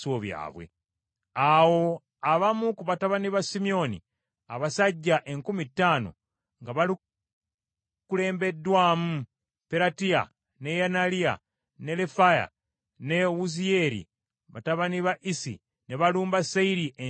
Awo abamu ku batabani ba Simyoni, abasajja enkumi ttaano nga bakulembeddwamu Peratiya, ne Neyaliya, ne Lefaya ne Wuziyeeri batabani ba Isi ne balumba Seyiri ensi ey’ensozi.